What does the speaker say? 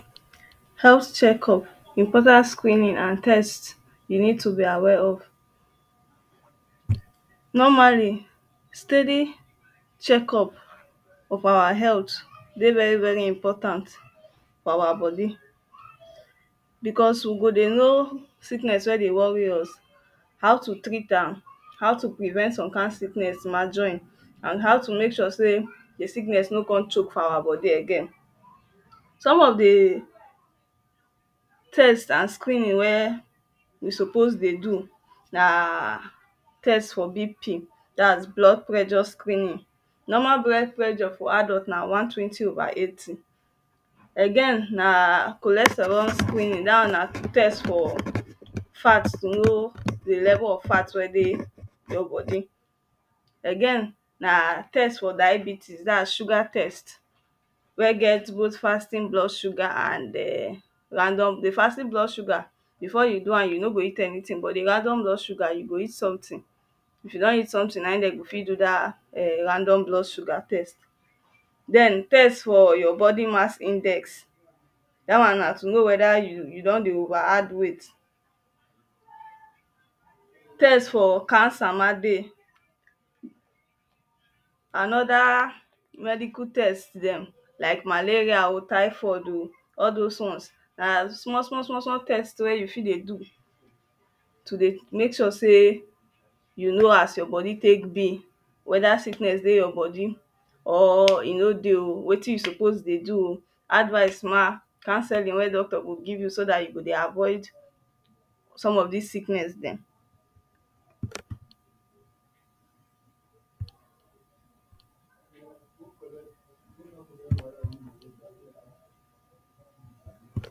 Health check up Important screening and test you need to be aware of Normally steady check up of our health dey very very important for our body becos we go dey know sickness wey dey worry us. how to treat am how to prevent some kind sickness ma join and how to make sure sey de de sickness no com choke for our body again. Some of de test an screening wey we sopos dey do um test for BP dat is blood pressure screening normal blood pressure for adult na 120/80 again na cholesterol screening dat one na test for fat to know de level of fat wey dey your body again na test for diabetes dat is sugar test wey get bot fatty blood sugar and um random the fatty blood sugar before you do am you no go eat anytin but de random blood sugar you go eat somtin, if you don eat somtin naim dem go fit do dat erm random blood sugar test. den test for your body mass index dat one na to know weda you don dey over add weight test for cancer mah dey and other medical test dem like malaria oh typhoid oh all dos ones na small small small small test wey you fit dey do to dey mek sure sey you know as your body tek be. Weda sickness dey your body or e no dey um wetin you suppose dey do um advice mah counselling wey doctor go give you so dat you go avoid som of this sickness dem.